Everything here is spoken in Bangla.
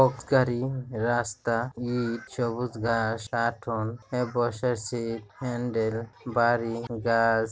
গাড়ি রাস্তায় ঈদ সবুজ ঘাস টেটোন বসরসিত হ্যান্ডেল বাড়ি গাছ--